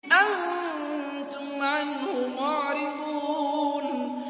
أَنتُمْ عَنْهُ مُعْرِضُونَ